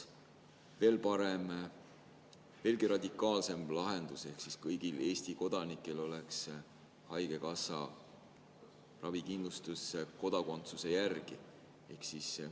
Veelgi parem, veelgi radikaalsem lahendus oleks see, kui kõigil Eesti kodanikel oleks ravikindlustus, kodakondsuse järgi.